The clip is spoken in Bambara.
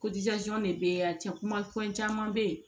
de bɛ yan cɛ kuma fɛn caman bɛ yen